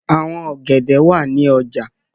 Àwọn ọ̀gẹ̀dẹ̀ wà ní ọjà.